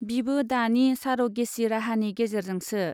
बिबो दानि सार'गेचि राहानि गेजेरजोंसो।